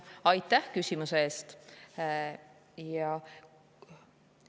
Aitäh küsimuse eest!